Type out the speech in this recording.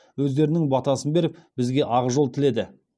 өздерінің батасын беріп бізге ақжол тіледі